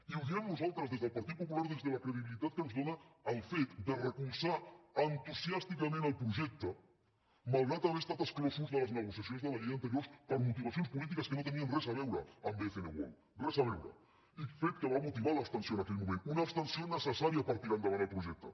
i ho diem nosaltres des del partit popular des de la credibilitat que ens dóna el fet de recolzar entusiàsticament el projecte malgrat haver estat exclosos de les negociacions de la llei anteriors per motivacions polítiques que no tenien res a veure amb bcn world res a veure fet que va motivar l’abstenció en aquell moment una abstenció necessària per tirar endavant el projecte